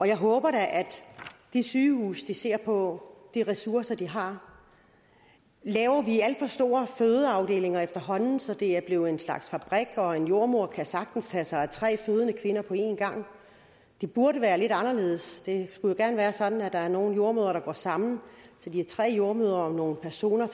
jeg håber da at de sygehuse ser på de ressourcer de har laver vi alt for store fødeafdelinger efterhånden så det er blevet en slags fabrik hvor en jordemoder sagtens kan tage sig af tre fødende kvinder på en gang det burde være lidt anderledes det skulle jo gerne være sådan at der er nogle jordemødre der går sammen så de er tre jordemødre om nogle personer